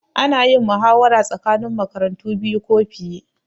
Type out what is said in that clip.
Ana yin muhawara tsakanin makarantu biyu ko fiye